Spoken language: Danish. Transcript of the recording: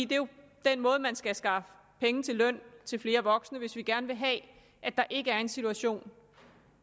den måde man skal skaffe penge til løn til flere voksne på hvis vi gerne vil have at der ikke er en situation